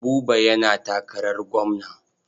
Buba yana takarar gwamna.